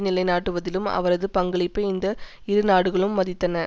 நிலைநாட்டுவதிலும் அவரது பங்களிப்பை இந்த இரு நாடுகளும் மதித்தன